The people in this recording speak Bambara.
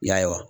Y'a ye wa